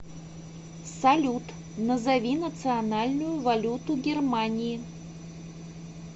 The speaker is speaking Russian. салют назови национальную валюту германии